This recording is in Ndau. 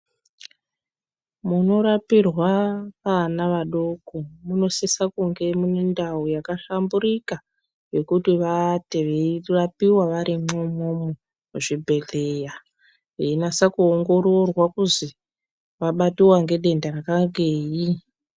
Munorapirwa ana adoko munosisa kunge mune ndau yakahlamburika yekuti vaate veirapiwa varimwo umwomwo muzvibhedhleya veinyase kuongororwa kuzi vabatiwa ngedenda rakangeyi.